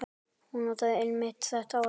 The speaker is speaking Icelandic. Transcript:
Hún notaði einmitt þetta orð.